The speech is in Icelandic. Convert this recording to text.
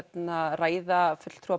ræða fulltrúa